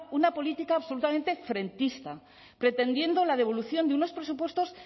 una política absolutamente frentista pretendiendo la devolución de unos presupuestos